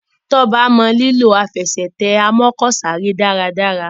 Toba mọ lilọ Àfẹsẹ̀tẹ̀ amọ́kọ̀sáré dára dára.